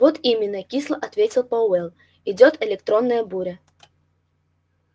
вот именно кисло ответил пауэлл идёт электронная буря